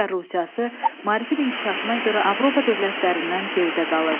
Çar Rusiyası maarifin inkişafına görə Avropa dövlətlərindən geridə qalırdı.